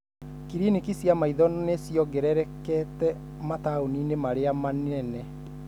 Cliniki cia maitho nĩ ciongererekete mataũninĩ marĩa manene.